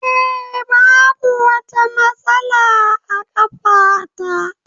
Eh, Babu wata matsala a ƙafa ta.